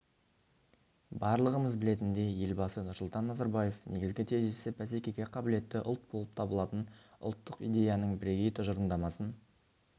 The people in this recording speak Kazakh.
барлығымыз білетіндей елбасы нұрсұлтан назарбаев негізгі тезисі бәсекеге қабілетті ұлт болып табылатын ұлттық идеяның бірегей тұжырымдамасын